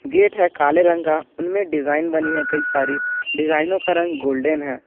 Gate है काले रंग का उनमें डिजाइन बनी है कई सारी डिजाइनों का रंग गोल्डन है।